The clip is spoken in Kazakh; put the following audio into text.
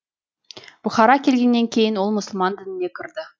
бұхарға келгеннен кейін ол мұсылман дініне кірді